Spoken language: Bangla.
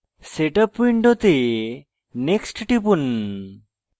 setup window next টিপুন